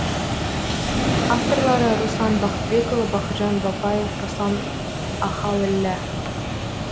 авторлары руслан бақытбекұлы бақытжан бапаев руслан ахаліллә